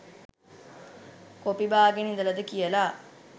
copy බාගෙන ඉදලද කියලා